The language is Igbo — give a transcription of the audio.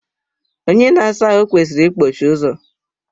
Onye na asa ahụ kwesịrị ikpọchi ụzọ.